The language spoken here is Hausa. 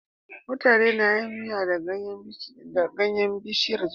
Mutane na yin Miya da ganyan bishiyar zogale